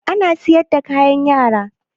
Ana siyar da kayan Yara?